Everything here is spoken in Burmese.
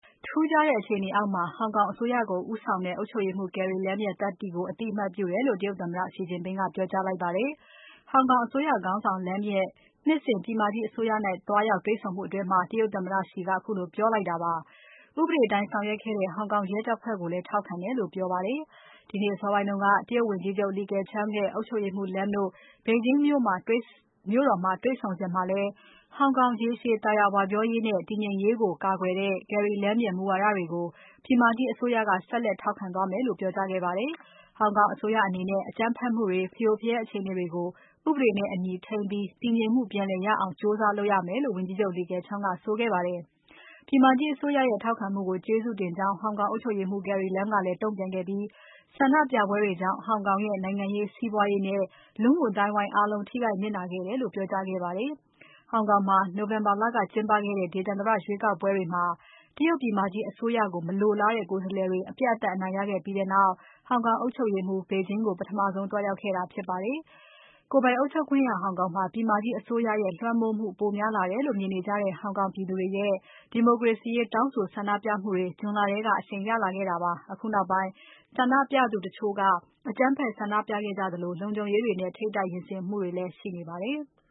ထူးခြားတဲ့အခြေအနေအောက်မှာ ဟောင်ကောင်အစိုးရကို ဦးဆောင်တဲ့ အုပ်ချုပ်ရေးမှူး Carrie Lam ရဲ့သတ္တိကို အသိအမှတ်ပြုတယ်လို့ တရုတ်သမ္မတ Xi Jinping က ပြောကြားလိုက်ပါတယ်။ ဟောင်ကောင်အစိုးရ ခေါင်းဆောင် Lam ရဲ့ နှစ်စဉ် ပြည်မကြီးအစိုးရနဲ့ သွားရောက်တွေ့ဆုံမှုအတွင်း တရုတ်သမ္မတ Xi က ခုလို ပြောလိုက်တာပါ။ ဥပဒေအတိုင်း ဆောင်ရွက်ခဲ့တဲ့ ဟောင်ကောင်ရဲတပ်ဖွဲ့ကိုလည်း ထောက်ခံတယ်လို့ ပြောပါတယ်။ ဒီနေ့အစောပိုင်းက တရုတ်ဝန်ကြီးချုပ် Li Keqiang နဲ့ အုပ်ချုပ်ရေးမှူး Lam တို့ ဘေဂျင်းမြို့တော်မှာ တွေ့ဆုံစဉ်မှာလည်း ဟောင်ကောင် ရေရှည်သာယာဝပြောရေးနဲ့ တည်ငြိမ်ရေးကို ကာကွယ်တဲ့ Carrie Lam ရဲ့ မူဝါဒတွေကို ပြည်မကြီးအစိုးရက ဆက်လက်ထောက်ခံသွားမယ်လို့ ပြောကြားခဲ့ပါတယ်။ ဟောင်ကောင်အစိုးရအနေနဲ့ အကြမ်းဖက်မှုတွေ၊ ဖရိုဖရဲအခြေအနေတွေကို ဥပဒေနဲ့အညီ ထိန်းပြီး တည်ငြိမ်မှုပြန်လည်ရအောင် ကြိုးစားလုပ်ရမယ်လို့ ဝန်ကြီးချုပ် Li Keqiang ကဆိုခဲ့ပါတယ်။ ပြည်မကြီးအစိုးရရဲ့ ထောက်ခံမှုကို ကျေးဇူးတင်ကြောင်း ဟောင်ကောင်အုပ်ချုပ်ရေးမှူး Carrie Lam က တုံ့ပြန်ခဲ့ပြီး ဆန္ဒပြပွဲတွေကြောင့် ဟောင်ကောင်ရဲ့နိုင်ငံရေး စီးပွားရေးနဲ့ လူမှုအသိုင်းအဝိုင်းအားလုံး ထိခိုက်နစ်နာခဲ့တယ်လို့ ပြောကြားခဲ့ပါတယ်။ ဟောင်ကောင်မှာ နိုဝင်ဘာလကကျင်းပခဲ့တဲ့ ဒေသန္တရရွေးကောက်ပွဲမှာ တရုတ်ပြည်မကြီးအစိုးရကို မလိုလားတဲ့ ကိုယ်စားလှယ်တွေ အပြတ်အသတ် အနိုင်ရခဲ့ပြီးနောက် ဟောင်ကောင်အုပ်ချုပ်ရေးမှူး တရုတ်ပြည်မကြီးကို ပထမဆုံး သွားရောက်ခဲ့တာ ဖြစ်ပါတယ်။ ကိုယ်ပိုင်အုပ်ချုပ်ခွင့်ရ ဟောင်ကောင်မှာ ပြည်မကြီးအစိုးရရဲ့ လွှမ်းမိုးမှု ပိုများလာတယ်လို့ မြင်နေကြတဲ့ ဟောင်ကောင်ပြည်သူတွေရဲ့ ဒီမိုကရေစီရေး တောင်းဆိုဆန္ဒပြမှုတွေ ဇွန် လထဲက အရှိန်ရလာခဲ့တာပါ။ အခုနောက်ပိုင်း ဆန္ဒပြသူတချို့က အကြမ်းဖက် ဆန္ဒပြကြသလို၊ လုံခြုံရေးတွေနဲ့ ထိပ်တိုက် ရင်ဆိုင်မှုတွေလည်း ရှိနေပါတယ်။